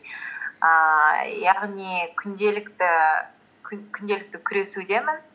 ііі яғни күнделікті күресудемін